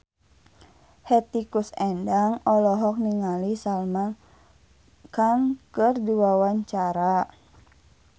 Hetty Koes Endang olohok ningali Salman Khan keur diwawancara